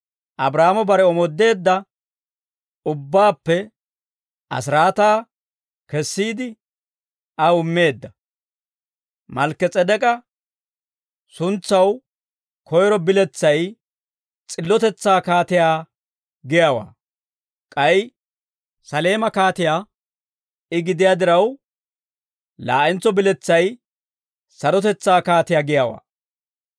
Abraahaamo bare omoodeedda ubbaappe asiraataa kessiide, aw immeedda; Malkki-S'edek'k'a suntsaw koyro biletsay s'illotetsaa kaatiyaa giyaawaa; k'ay Saleema kaatiyaa I gidiyaa diraw, laa'entso biletsay sarotetsaa kaatiyaa giyaawaa.